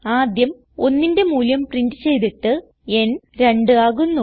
ആദ്യം 1ന്റെ മൂല്യം പ്രിന്റ് ചെയ്തിട്ട് ന് 2 ആകുന്നു